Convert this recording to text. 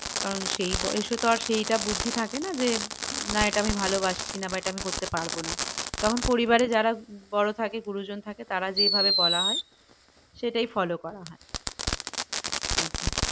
কারণ সেই বয়সে তো আর সেইটা বুদ্ধি থাকে না যে না এটা আমি ভালোবাসছি না বা এটা আমি করতে পারবো না তখন পরিবারে যারা বড় থাকে গুরুজন থাকে তারা যেইভাবে বলা হয় সেইটাই follow করা হয় একদম